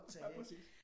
Ja præcis